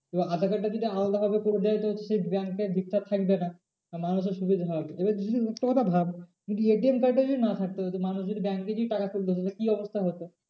এবার aadhaar card টা যদি আলাদা ভাবে করে দেয় তো সেই bank এ আর ভিড়টা থাকবে না। আর মানুষের সুবিধা হবে। এবার জিনিস একটা কথা ভাব যদি ATM card টা যদি না থাকতো মানুষ যদি bank এ যদি টাকা তুলতে হতো কি অবস্থা হতো?